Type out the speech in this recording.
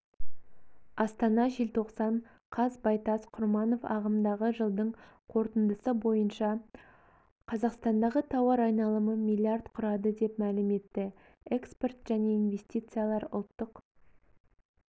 астана желтоқсан қаз байтас құрманов ағымдағы жылдың қорытындысы бойынша қазақстандағы тауар айналымы миллиард құрады деп мәлім етті экспорт және инвестициялар ұлттық